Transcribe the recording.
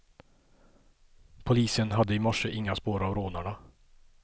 Polisen hade i morse inga spår av rånarna.